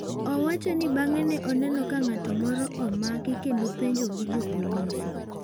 Owacho ni bang’e ne oneno ka ng’at moro omaki kendo penjo gi jopolisi.